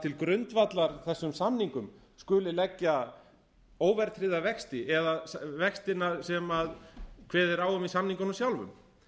til grundvallar þessum samningum skuli leggja óverðtryggða vexti eða vextina sem kveðið er á um í samningunum sjálfum